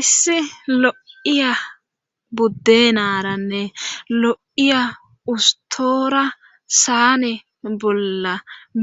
issi lo7iya buddenaranne lo7iya ustoora saane bolla